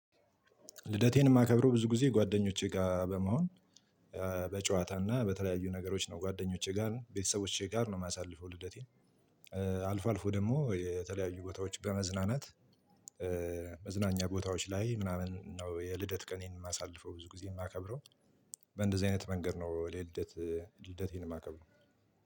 ልደቴን የማከብረው ብዙ ጊዜ ጓደኞቼ ጋር በመሆን፣ በጨዋታ እና በተለያዩ ነገሮች ነው። ጓደኞቼ ጋር፣ ቤተሰቦቼ ጋር ነው የማሳልፈው ልደቴን። አልፎ አልፎ ደግሞ የተለያዩ ቦታዎች በመዝናናት መዝናኛ ቦታዎች ላይ ምናምን ነው የልደት ቀኔን የማሳልፈው ብዙ ጊዜ የማከብረው፤ በእንደዚህ አይነት መንገድ ነው ወደ ልደት ልደቴን የማከብረው።